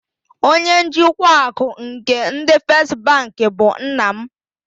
Onye njikwa akụ nke ndị First bank bụ nna m.